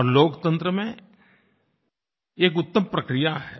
और लोकतंत्र में एक उत्तम प्रक्रिया है